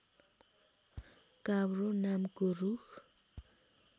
काब्रो नामको रूख